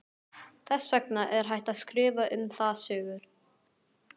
Þess vegna er hægt að skrifa um það sögur.